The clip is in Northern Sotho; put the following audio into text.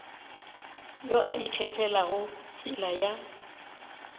yo a ikgethelago tsela ya